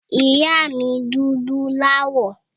Ìyá mi dúdú láwọ̀.